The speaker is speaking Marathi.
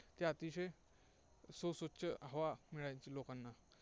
ते अतिशय सुस्वच्छ हवा मिळायची लोकांना.